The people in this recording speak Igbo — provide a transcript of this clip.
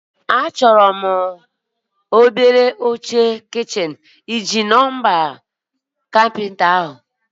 Achọrọ m obele oche kichin, ịji nọmba ekwentị onye kapịnta ahụ?